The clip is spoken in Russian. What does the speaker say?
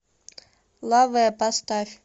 лавэ поставь